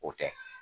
O tɛ